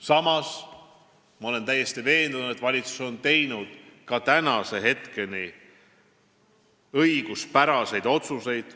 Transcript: Samas olen ma täiesti veendunud, et valitsus on teinud ka tänaseni õiguspäraseid otsuseid.